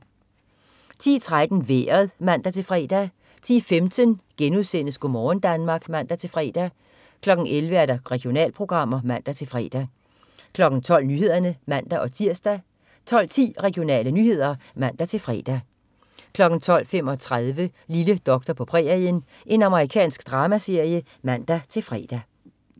10.13 Vejret (man-fre) 10.15 Go' morgen Danmark* (man-fre) 11.00 Regionalprogrammer (man-fre) 12.00 Nyhederne (man-tirs) 12.10 Regionale nyheder (man-fre) 12.35 Lille doktor på prærien. Amerikansk dramaserie (man-fre)